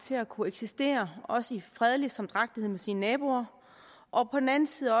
til at kunne eksistere også i fredelig samdrægtighed med sine naboer og på den anden side